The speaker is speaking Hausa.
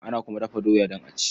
Ana kuma dafa doya don a ci.